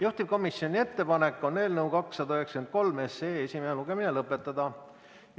Juhtivkomisjoni ettepanek on eelnõu 293 esimene lugemine lõpetada.